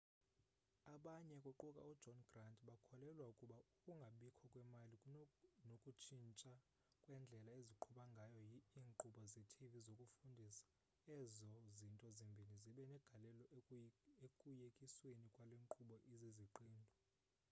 abanye kuquka ujohn grant bakholelwa ukuba ukungabikho kwemali nokutshintsha kwendlela eziqhuba ngayo iinkqubo zetv zokufundisa ezo zinto zombini zibe negalelo ekuyekisweni kwale nkqubo iziziqendu